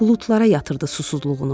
Buludlara yatırdı susuzluğunu.